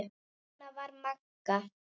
Svona var Magga.